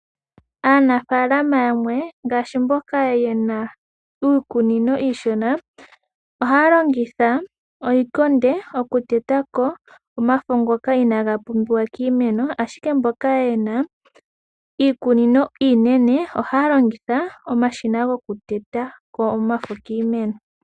Aanafaalama yamwe ngaashi mboka ye na iikunino iishona ohaya longitha oshikonde okuteta ko omafo ngoka inaga pumbiwa kiimeno, ashike mboka ye na iikunino iinene ohaya longitha omashina gokuteta ko omafo kiimeno.